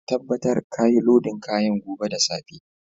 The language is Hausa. Ka tabatar ka yi lodin kayan gobe da safe!